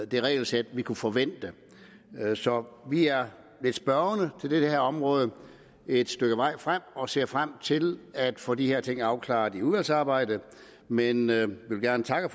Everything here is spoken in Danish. det regelsæt vi kunne forvente så vi er lidt spørgende på det her område et stykke vej frem og ser frem til at få de her ting afklaret i udvalgsarbejdet men jeg vil gerne takke